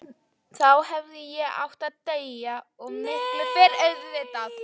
Þá hefði ég átt að deyja, og miklu fyrr auðvitað.